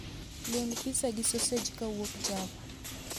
Luong pizza gi sosej kowuok java